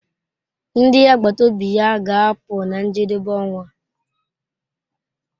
Ndi agbata obi ya ga-apụ na njedebe ọnwa.